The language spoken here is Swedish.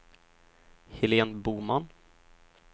Helén Boman